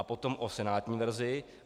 A potom o senátní verzi.